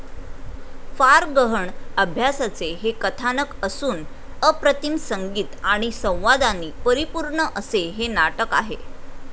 फार गहण अभ्यासाचे हे कथानक असून अप्रतिम संगीत आणि संवादांनी परिपूर्ण असे हे नाटक आहे.